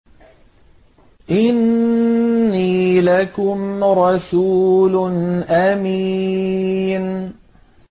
إِنِّي لَكُمْ رَسُولٌ أَمِينٌ